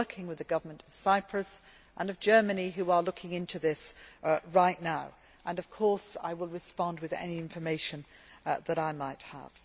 I am working with the governments of Cyprus and Germany, who are looking into this right now, and I will respond with any information that I might have.